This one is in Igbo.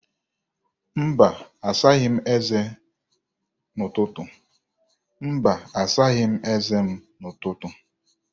Mba, asaghị m eze m n'ụtụtụ.